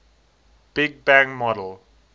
big bang model